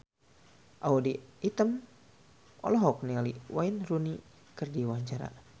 Audy Item olohok ningali Wayne Rooney keur diwawancara